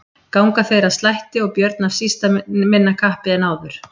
Ganga þeir að slætti og Björn af síst minna kappi en áður.